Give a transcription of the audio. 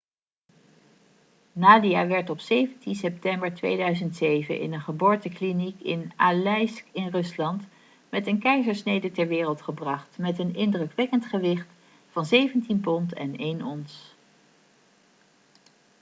nadia werd op 17 september 2007 in een geboortekliniek in aleisk in rusland met een keizersnede ter wereld gebracht met een indrukwekkend gewicht van 17 pond en 1 ons